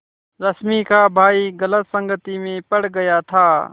रश्मि का भाई गलत संगति में पड़ गया था